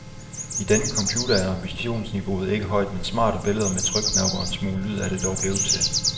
I denne computer er ambitionsniveauet ikke højt, men smarte billeder med trykknapper og en smule lyd er det dog blevet til.